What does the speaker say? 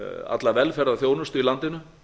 alla velferðarþjónustu í landinu